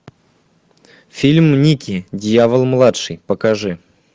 фильм никки дьявол младший покажи